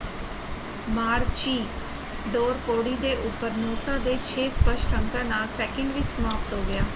Maroochydore ਪੌੜੀ ਦੇ ਉੱਪਰ ਨੂਸਾ ਦੇ ਛੇ ਸਪਸ਼ਟ ਅੰਕਾਂ ਨਾਲ ਸੈਕਿੰਡ ਵਿੱਚ ਸਮਾਪਤ ਹੋ ਗਿਆ।